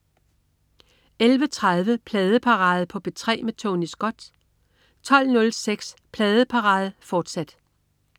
11.30 Pladeparade på P3 med Tony Scott 12.06 Pladeparade på P3 med Tony Scott, fortsat